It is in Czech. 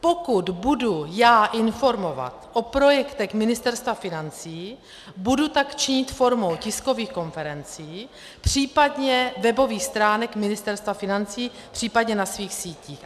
Pokud budu já informovat o projektech Ministerstva financí, budu tak činit formou tiskových konferencí, případně webových stránek Ministerstva financí, případně na svých sítích.